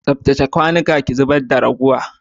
Tsaftace kwanuka ki zub da raguwa.